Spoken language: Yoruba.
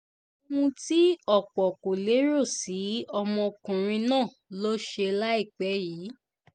ohun tí ọ̀pọ̀ kò lérò sí ọmọkùnrin náà ló ṣe láìpẹ́ yìí